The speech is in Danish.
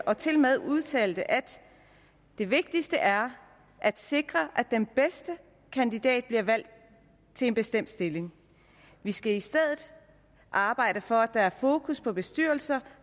og tilmed udtalte at det vigtigste er at sikre at den bedste kandidat bliver valgt til en bestemt stilling vi skal i stedet arbejde for at der er fokus på at bestyrelser